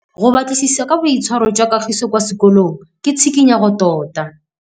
Go batlisisa ka boitshwaro jwa Kagiso kwa sekolong ke tshikinyêgô tota.